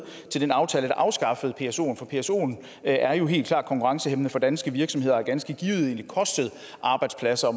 til den aftale der afskaffede psoen for psoen er jo helt klart konkurrencehæmmende for danske virksomheder og har ganske givet kostet arbejdspladser